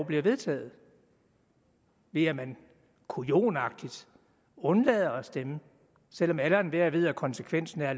bliver vedtaget ved at man kujonagtigt undlader at stemme selv om alle og enhver ved at konsekvensen er at